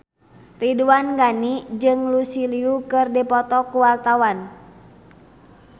Ridwan Ghani jeung Lucy Liu keur dipoto ku wartawan